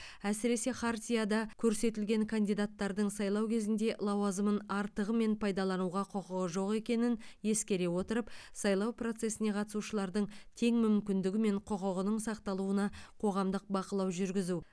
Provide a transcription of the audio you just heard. әсіресе хартияда көрсетілген кандидаттардың сайлау кезінде лауазымын артығымен пайдалануға құқығы жоқ екенін ескере отырып сайлау процесіне қатысушылардың тең мүмкіндігі мен құқығының сақталуына қоғамдық бақылау жүргізу